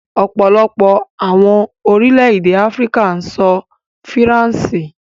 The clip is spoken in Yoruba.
Ọ̀pọ̀lọpọ̀ awọn orílẹ̀-èdè Afíríkà n sọ̀ Faransé